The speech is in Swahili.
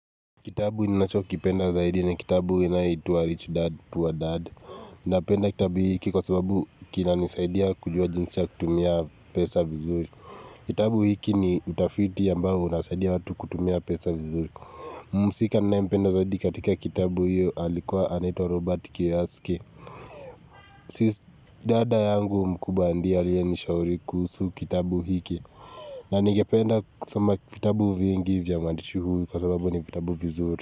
Kitabu ninacho kipenda zaidi ni kitabu inayoitwa Rich Dad, Poor Dad. Napenda kitabu hiki kwa sababu kinanisaidia kujua jinsi ya kutumia pesa vizuri. Kitabu hiki ni utafiti ambao unasaidia watu kutumia pesa vizuri. Mhusika ninaempenda zaidi katika kitabu hiyo alikuwa anaitwa Robert Kiyoski. Dada yangu mkubwa ndio aliyenishauri kuhusu kitabu hiki. Na ningependa kusoma vitabu vingi vya mwandishi huyu kwa sababu ni kitabu vizuri.